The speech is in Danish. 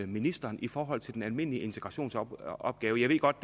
ministeren i forhold til den almindelige integrationsopgave jeg ved godt